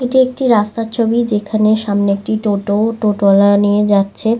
এটি একটি রাস্তার ছবি। যেখানে সামনে একটি টোটো টোটো ওয়ালা নিয়ে যাচ্ছে।